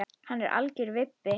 Hann er algjör vibbi.